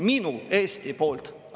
Minu Eesti poolt!